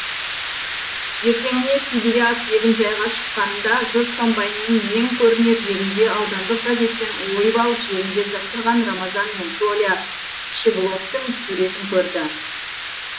ертеңіне сибиряк егінжайға шыққанында жұрт комбайнның ең көрінер жерінде аудандық газеттен ойып алып желімдеп жапсырған рамазан мен толя щегловтың суретін көрді